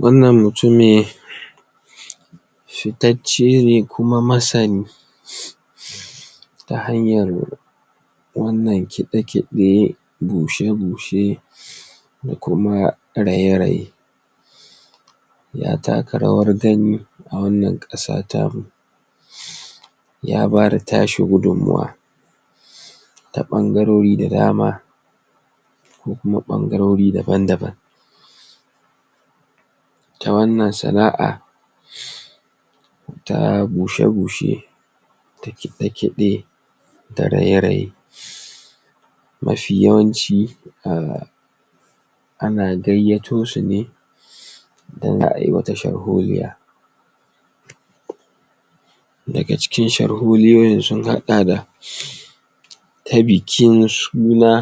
wan nan mutumi ficeccene kuma masani ta hanyar wan nan kide- kide bushe-bushe da kuma raye-raye ya taka rawar gani a wan nan kasa tamu ya bada tashi gudun mawan ta bangarori da dama ko kuma bangarori daban daban ta wan nan sanaa ta bushe bushe ta kide-kide da raye raye mafi yawan ci a ana gaiyatosune in zaa yi wata sharholiya da ga cikin sharholiyoyin sun hada da ta bikin suna